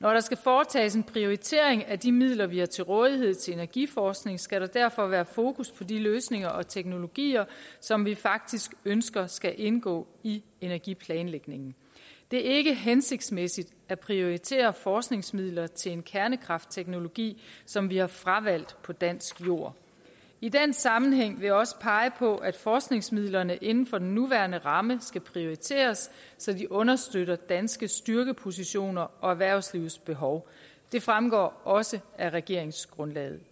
når der skal foretages en prioritering af de midler vi har til rådighed til energiforskning skal der derfor være fokus på de løsninger og teknologier som vi faktisk ønsker skal indgå i energiplanlægningen det er ikke hensigtsmæssigt at prioritere forskningsmidler til en kernekraftteknologi som vi har fravalgt på dansk jord i den sammenhæng vil jeg også pege på at forskningsmidlerne inden for den nuværende ramme skal prioriteres så de understøtter danske styrkepositioner og erhvervslivets behov det fremgår i også af regeringsgrundlaget